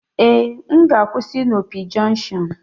Ee, m ga-akwụsị na Opi junction